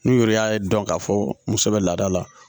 N'u yɛrɛ y'a dɔn k'a fɔ muso bɛ laada la